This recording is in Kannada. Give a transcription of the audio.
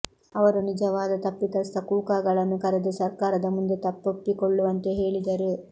ಅವರು ನಿಜವಾದ ತಪ್ಪಿತಸ್ಥ ಕೂಕಾಗಳನ್ನು ಕರೆದು ಸರ್ಕಾರದ ಮುಂದೆ ತಪ್ಪೊಪ್ಪಿಕೊಳ್ಳುವಂತೆ ಹೇಳಿದರು